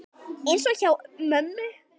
Eins og hjá mömmu.